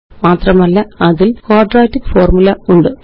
മാത്രമല്ല അതില് quadratic formula ഉണ്ട്